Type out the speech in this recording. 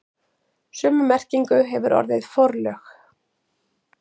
Sömu merkingu hefur orðið forlög.